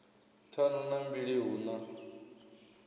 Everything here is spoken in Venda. ṱhanu na mbili hu na